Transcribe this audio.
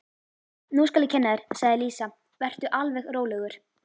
Nú skal ég kenna þér, sagði Lísa, vertu alveg rólegur.